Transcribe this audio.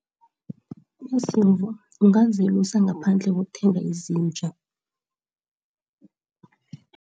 Iziimvu ungazelusa ngaphandle kokuthenga izinja.